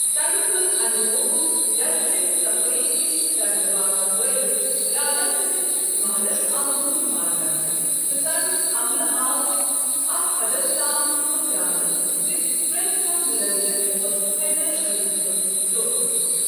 تمہِ تُل اَمہِ موقعُک گرٕچہِ صفٲی ہِش كرنہٕ باپت فٲیدٕ راجا سٕنٛدِس محلس آو لوٗٹھ مار كرنہٕ، تہٕ تمیک عملہٕ آو اتھ حدس تام مو٘ژراونہٕ زِ پریتھ كانہہ مُلٲزم اوس حیدر علی سنٛد جوسوُس